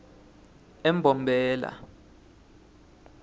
embombela